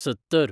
सत्तर